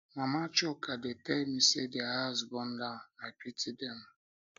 mama chuka dey tell me say their house burn down i pity dem